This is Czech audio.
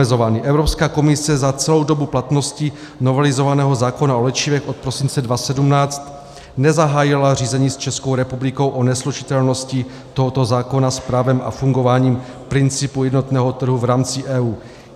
Evropská komise za celou dobu platnosti novelizovaného zákona o léčivech od prosince 2017 nezahájila řízení s Českou republikou o neslučitelnosti tohoto zákona s právem a fungováním principu jednotného trhu v rámci EU.